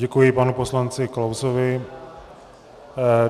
Děkuji panu poslanci Klausovi.